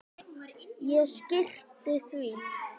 Ég skyrpti því.